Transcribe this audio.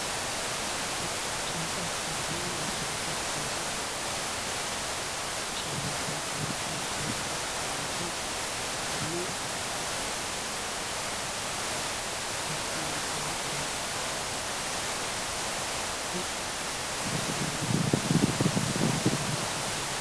ጭንቀትና የአስቸኳይ ፍላጎት ስሜት ጎልቶ ይታያል። ነጭ የነዳጅ ቦቴ መኪናዎች ተሰልፈው በረዥሙ ሲጓዙ መታየታቸው፣ ለብዙ ሰዎች ወሳኝ አቅርቦት የማድረስ የኃላፊነት ሸክም እና የመዘግየት ፍርሃት ያሳያል።